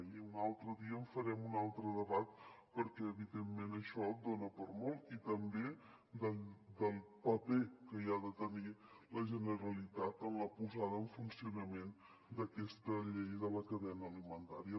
i un altre dia en farem un altre debat perquè evidentment això dona per a molt i també del paper que hi ha de tenir la generalitat en la posada en funcionament d’aquesta llei de la cadena alimentària